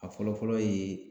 A fɔlɔ-fɔlɔ ye